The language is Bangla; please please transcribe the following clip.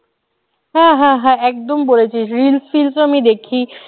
হ্যাঁ হ্যাঁ হ্যাঁ একদম বলেছিস reels টিলস তো আমি দেখি